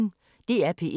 DR P1